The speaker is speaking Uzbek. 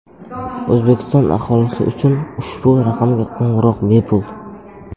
O‘zbekiston aholisi uchun ushbu raqamga qo‘ng‘iroq bepul.